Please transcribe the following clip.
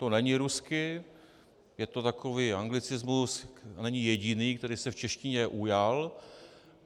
To není rusky, je to takový anglicismus, není jediný, který se v češtině ujal.